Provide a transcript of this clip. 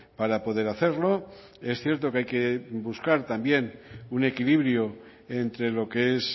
para poder hacerlo es cierto que hay que buscar también un equilibrio entre lo que es